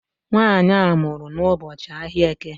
Nwaanyị a mụrụ n'ụbọchị ahịa Eke